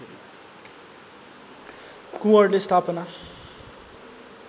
कुँवरले स्थापना